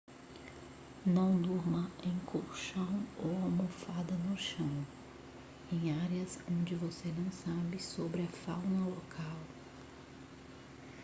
não durma em colchão ou almofada no chão em áreas onde você não sabe sobre a fauna local